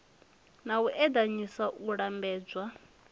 na u eḓanyisa u lambedzwa